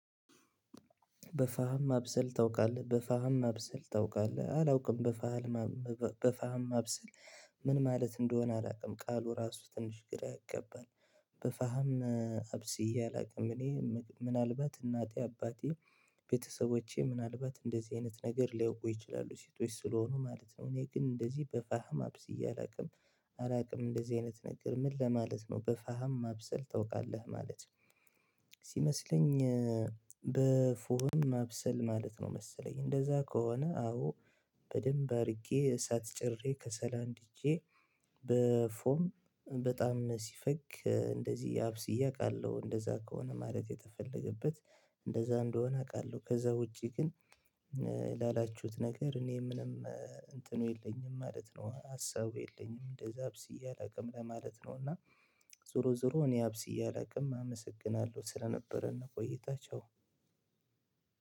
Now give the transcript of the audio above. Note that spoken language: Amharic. በፋህም ማብሰል ታውቃለህ በፋህም ማብሰል ታውቃለህ አላውቅም በፋህማ በፋህማ ማብስል ምን ማለት እንደሆነ አላውቅም ቃሉ ራሱ ትንሽ ግራ ይገባል። በፋህም አብስዬ አላውቅም እኔ ምናልባት እናቴ አባቴ ቤተሰቦቼ ምናልባት እንደዚህ አይነት ነገር ሊያውቁ ይችላሉ ሴቶች ስለሆኑ ማለት ነው። እኔ ግን እንደዚህ በፋህም አብስዬ አላውቅም። አላውቅም እንደዚህ አይነት ነገር ምን ለማለት ነው በፋህም ማብሰል ታውቃለህ ማለት ነው። ሲመስለኝ በፉህም ማብሰል ማለት ነው። መሰለኝ እንደዛ ከሆነ አዎ። በደንብ አድርጌ እሳት ጭርሬ ከሰል አንድጄ በፎም በጣም ሲፈግ እንደዚህ አብስዬ አውቃለሁ። እንደዛ ከሆነ ማለት የተፈለገበት እንደዛ እንደሆነ አውቃለሁ። ከዛ ውጪ ግን ላላችሁት ነገር እኔ ምንም እንትኑ የለኝም ማለት ነው። ሀሳቡ የለኝም እንደዛ አብስዬ አላውቅም ለማለት ነው። እና ዞሮ ዞሮ እኔ አብስዬ እላቅም አመሰግናለሁ ስለነበረን ቆይታ ቻው።